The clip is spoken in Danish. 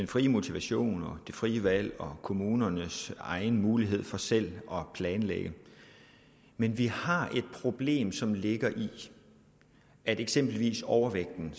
frie motivation og det frie valg og kommunernes egen mulighed for selv at planlægge men vi har et problem som ligger i at eksempelvis overvægten